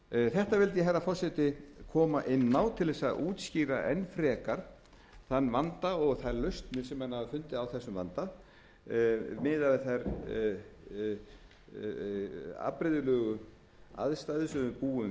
þetta vildi ég herra forseti koma inn á til þess að útskýra enn frekar þann vanda og þær lausnir sem menn hafa fundið á þessum vanda miðað við þær afbrigðilegu aðstæður á við búum